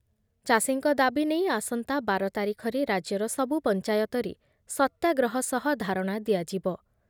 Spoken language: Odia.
ଚାଷୀଙ୍କ ଦାବି ନେଇ ଆସନ୍ତା ବାର ତାରିଖରେ ରାଜ୍ୟର ସବୁ ପଞ୍ଚାୟତରେ ସତ୍ୟାଗ୍ରହ ସହ ଧାରଣା ଦିଆଯିବ ।